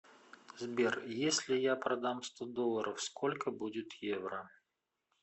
сбер если я продам сто долларов сколько будет евро